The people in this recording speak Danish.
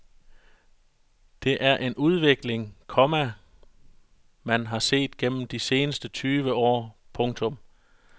Det er en udvikling, komma man har set gennem de seneste tyve år. punktum